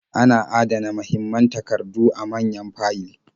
Ana adana mahimman takardu a manyan fayil.